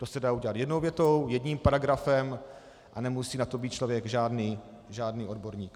To se dá udělat jednou větou, jedním paragrafem a nemusí na to být člověk žádný odborník.